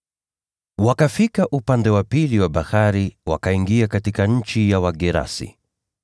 Wakafika upande wa pili wa ziwa wakaingia katika nchi ya Wagerasi.